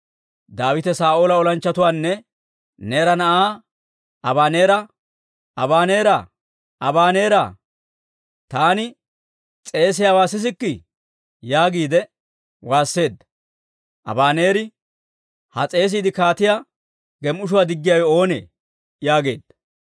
Daawite Saa'oola olanchchatuwaanne Neera na'aa Abaneera, «Abaneera! Abaneera! Taani s'eesiyaawaa sisikkii?» yaagiide waasseedda. Abaneeri, «Ha s'eesiide kaatiyaa gem"ishshuwaa diggiyaawe oonee?» yaageedda.